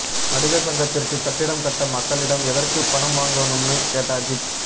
நடிகர் சங்கத்திற்கு கட்டிடம் கட்ட மக்களிடம் எதற்கு பணம் வாங்கணும்னு கேட்ட அஜீத்